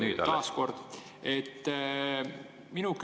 Nüüd alles!